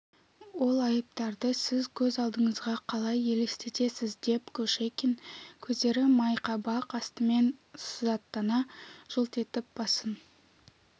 ол айыптарды сіз көз алдыңызға қалай елестетесіз деп кушекин көздері майқабақ астымен сызаттана жылт етіп басын